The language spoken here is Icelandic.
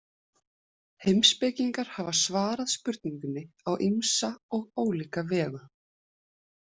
Heimspekingar hafa svarað spurningunni á ýmsa og ólíka vegu.